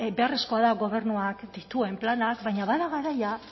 beharrezkoa da gobernuak dituen planak baina bada garaia